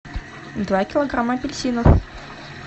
два килограмма апельсинов